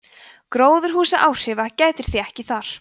gróðurhúsaáhrifa gætir því ekki þar